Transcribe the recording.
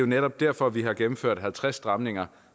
netop derfor vi har gennemført halvtreds stramninger